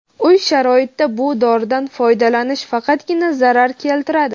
Uy sharoitida bu doridan foydalanish faqatgina zarar keltiradi.